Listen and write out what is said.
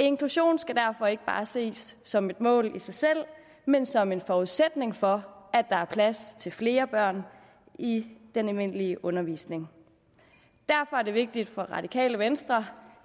inklusion skal derfor ikke bare ses som et mål i sig selv men som en forudsætning for at der er plads til flere børn i den almindelige undervisning derfor er det vigtigt for det radikale venstre